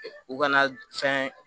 U ka na fɛn